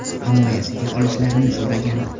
Himoyasiga olishlarini so‘ragan.